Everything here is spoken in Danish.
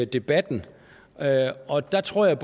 debatten og der tror jeg